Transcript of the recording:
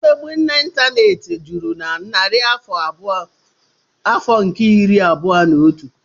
Mmegbu n'Ịntaneti bụ juru na narị afọ nke iri abụọ na otu.